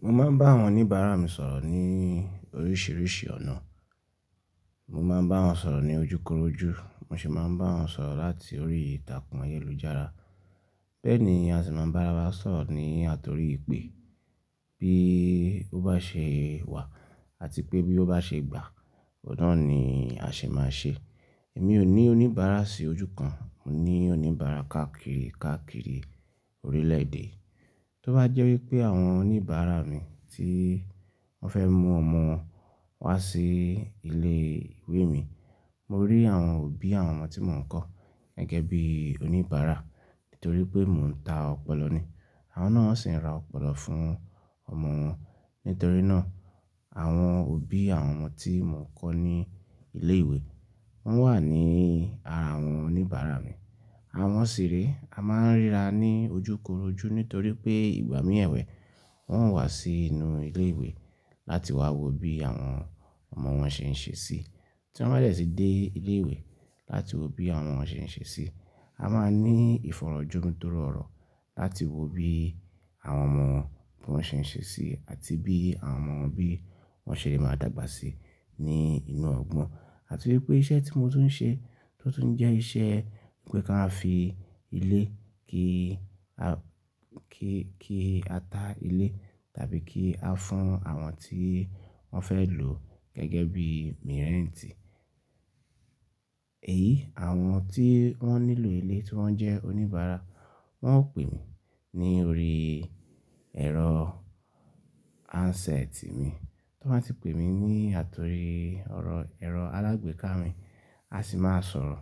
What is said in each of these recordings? Mo máa ń bá àwọn oníbàárà mi sọ̀rọ̀ ní oríṣìíríṣìí ọ̀nà. Mo máa ń bá wọn sọ̀rọ̀ ní ojúkorojú, mo sì máa ń bá wọn sọ̀rọ̀ láti orí ìtàkùn ayélujára. Bẹ́ẹ̀ ni a sì máa ń bá ara wa sọ̀rọ̀ ní àtorí ìpè. Bí ó bá ṣe wà àti pé bí ó bá ṣe gbà, ọ̀nà ni a sì máa ń ṣe. Èmi ò ní oníbàárà sí ojú kan, mo ní oníbàárà káàkiri káàkiri orílẹ̀ èdè. Tó bá jẹ́ wípé àwọn oníbàárà mi tí wọ́n fẹ́ mú ọmọ wọn wá sí ilé ìwé mi, mo rí àwọn òbí àwọn ọmọ tí mò ń kọ́ gẹ́gẹ́ bí oníbàárà nítorí pé mò ń ta ọ̀pọ̀lọ ní. Àwọn náà sì ń ra ọ̀pọ̀lọ fún ọmọ wọn. Nítorí náà àwọn òbí àwọn ọmọ tí mò ń kọ́ ní ilé ìwé wọ́n wà ní ara àwọn oníbàárà mi. Àwọn sì rí, a máa ń ríra ní ojúkorojú nítorí pé ìgbà mìíràn ìwẹ̀ wọn wà sí inú ilé ìwé láti wá wo bí àwọn ọmọ wọn ṣe ń ṣe sí. Tí wọ́n bẹ́ẹ̀ sì dé ilé ìwé láti wo bí àwọn ọmọ wọn ṣe ń ṣe sí, a máa ní ìfọ̀rọ̀jú tó rọrùn láti wo bí àwọn ọmọ wọn ṣe ń ṣe sí àti bí àwọn ọmọ wọn bí wọ́n ṣe lè máa dàgbà sí ní inú ọgbọ́n. Àti wípé iṣẹ́ tí mo tún ń ṣe tó tún jẹ́ iṣẹ́ pé kí a fi ilé, kí a, kí, kí a ta ilé tàbí kí a fún àwọn tí wọ́n fẹ́ lò gẹ́gẹ́ bí mirẹ́ntì. Èyí àwọn tí wọ́n nílò ilé tí wọ́n jẹ́ oníbàárà, wọ́n ó pè mí ní orí ẹ̀rọ handset mi. Tí wọ́n bá ti pè mí ní àtorí ọ̀rọ̀ ẹ̀rọ alágbèéká mi, a sì máa sọ̀rọ̀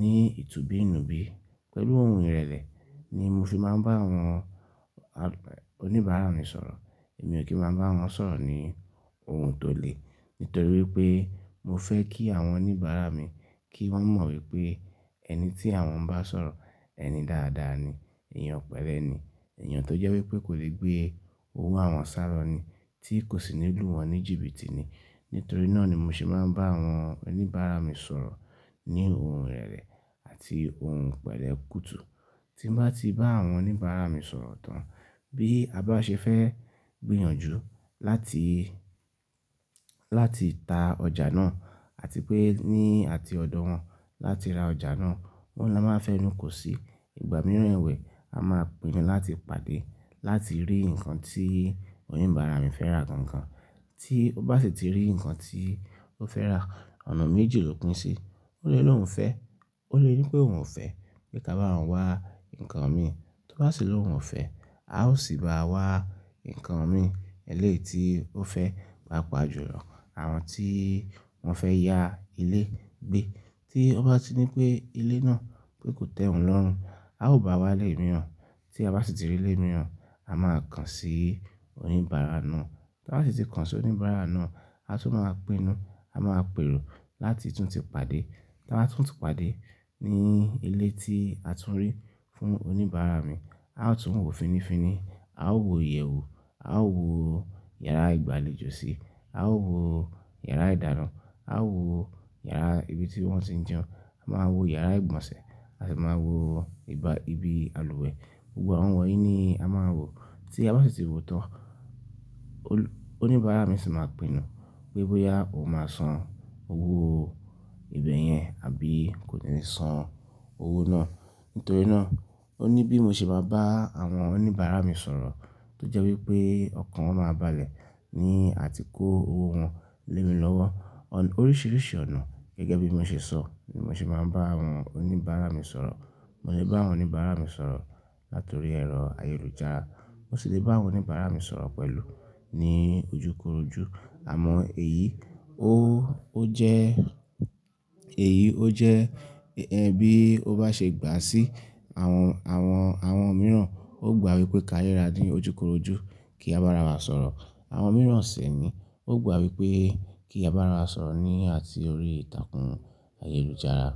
ní ìtubí inú bí. Pẹ̀lú ohun ìrẹ̀lẹ̀ ni mo fi máa ń bá àwọn oníbàárà mi sọ̀rọ̀. Èmi ò kí máa bá wọn sọ̀rọ̀ ní ohun tó le. Nítorí wípé mo fẹ́ kí àwọn oníbàárà mi kí wọ́n mọ̀ wípé ẹni tí àwọn ń bá sọ̀rọ̀, ẹni dáadáa ni, èèyàn pẹ̀lẹ́ ni, èèyàn tó jẹ́ wípé kò lè gbé owó àwọn sàlọ́ ni tí kò sì nílú wọn ní jìbìtì ni. Nítorí náà ni mo sì máa ń bá àwọn oníbàárà mi sọ̀rọ̀ ní ohun ìrẹ̀lẹ̀ àti ohun ìpẹ̀lẹ́ kùtù. Tí n bá ti bá àwọn oníbàárà mi sọ̀rọ̀ tán, bí a bá ṣe fẹ́ gbìyànjú láti, láti ta ọjà náà àti pé ní àti ọ̀dọ̀ wọn láti ra ọjà náà, wọ́n ló máa fẹ́nú kò sí. Ìgbà mìíràn ìwẹ̀ a máa pinnu láti pàdé láti rí ǹkan tí oníbàárà mi fẹ́ rà gangan. Tí ó bá sì ti rí ǹkan tí ó fẹ́ rà, ọ̀nà méjì ló pín sí. Ó lè lóhùn fẹ́, ó lè ní pé òun ò fẹ́ pé ká bá òun wá ǹkan mi. Tó bá sì lóhùn ò fẹ́, a ó sì bá wá ǹkan mi elé ti ó fẹ́. Pàpàjúlọ́ àwọn tí wọ́n fẹ́ ya ilé gbé. Tí ó bá ti ní pé ilé náà pé kò tẹ́ òun lọ́rùn, a ó bá wá lé mìíràn. Tí a bá sì ti rí ilé mìíràn, a máa kàn sí oníbàárà náà. Tí a bá sì ti kàn sí oníbàárà náà, a tún máa pinnu. A máa pèrò láti tún ti pàdé. Tí a bá tún ti pàdé ní ilé tí a tún rí fún oníbàárà mi, a ó tún wò finifiní, a ó wò ìyẹ̀wù, a ó wò yàrá ìgbàlejò síi, a ó wò yàrá ìdáná, a ó wò yàrá ibi tí wọ́n tí ń jẹun, a máa wò yàrá ìgbọ̀nsẹ̀, a sì máa wò ibà, ibi àlùwẹ̀. Gbogbo àwọn wọ̀nyí ni a máa wò. Tí a bá sì ti wò tán, oníbàárà mi sì máa pinnu pé bóyá ó máa san owó ibẹ̀ yẹn àbí kò ní san owó náà. Nítorí náà oníbí mo sì máa bá àwọn oníbàárà mi sọ̀rọ̀ tó jẹ́ wípé ọ̀kan wọn máa balẹ̀ ní àti kó owó wọn lé mi lọ́wọ́. Oríṣiríṣi ọ̀nà gẹ́gẹ́ bí mo ṣe sọ ni mo sì máa ń bá àwọn oníbàárà mi sọ̀rọ̀. Mo lè bá àwọn oníbàárà mi sọ̀rọ̀ láti orí ẹ̀rọ ayélujára, mo sì lè bá àwọn oníbàárà mi sọ̀rọ̀ pẹ̀lú ní ojúkorojú. Àmọ́ èyí ó, ó jẹ́, èyí ó jẹ́ ẹ́, bí ó bá ṣe gbà sí àwọn, àwọn, àwọn mìíràn ó gbà wípé ká yé ra ní ojúkorojú kí a bá ara wa sọ̀rọ̀. Àwọn mìíràn sì ni ó gbà wípé kí a bá ara wa sọ̀rọ̀ ní àti orí ìtàkùn ayélujára.